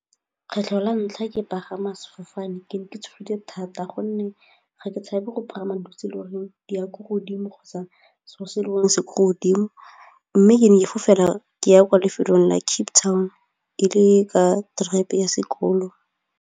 Kgetlho la ntlha ke pagama sefofane ke ne ke tshogile thata gonne ga ke tshabe go pagama e le goreng di ya ko godimo kgotsa seo se e le gore se ko godimo mme ke ne ke fofela ke ya kwa lefelong la Cape Town e le ka ya sekolo.